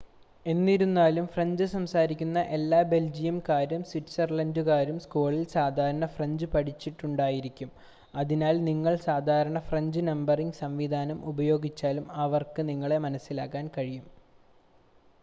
എന്നിരുന്നാലും ഫ്രഞ്ച് സംസാരിക്കുന്ന എല്ലാ ബെൽജിയംകാരും സ്വിറ്റ്‌സർലൻഡ്കാരും സ്കൂളിൽ സാധാരണ ഫ്രഞ്ച് പഠിച്ചിട്ടുണ്ടായിരിക്കും അതിനാൽ നിങ്ങൾ സാധാരണ ഫ്രഞ്ച് നമ്പറിംഗ് സംവിധാനം ഉപയോഗിച്ചാലും അവർക്ക് നിങ്ങളെ മനസ്സിലാക്കാൻ കഴിയും